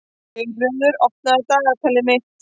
Geirröður, opnaðu dagatalið mitt.